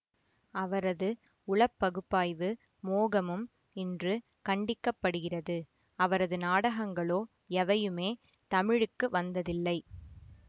அவரது உளப்பகுப்பாய்வு மோகமும் இன்று கண்டிக்கப்படுகிறது அவரது நாடகங்களோ எவையுமே தமிழுக்கு வந்ததில்லை